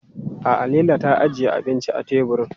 A'a Laila ta ajiye abinci a teburin.